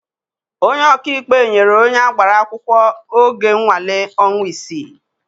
Onye ọkaikpe nyere onye agbara akwụkwọ oge nnwale ọnwa isii.